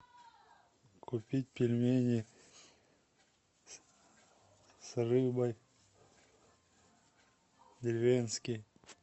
купить пельмени с рыбой деревенские